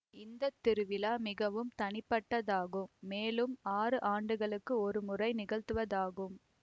இந்த திருவிழா மிகவும் தனிப்பட்டதாகும் மேலும் ஆறு ஆண்டுகளுக்கு ஒரு முறை நிகழ்த்துவதாகும்